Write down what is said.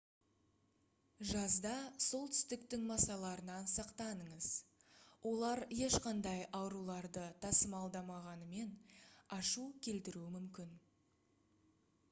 жазда солтүстіктің масаларынан сақтаныңыз олар ешқандай ауруларды тасымалдамағанымен ашу келтіруі мүмкін